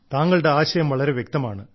താങ്കളുടെ ആശയം വളരെ വ്യക്തമാണ്